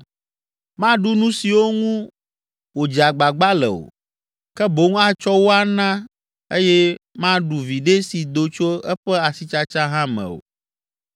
Maɖu nu siwo ŋu wòdze agbagba le o, ke boŋ atsɔ wo ana eye maɖu viɖe si do tso eƒe asitsatsa hã me o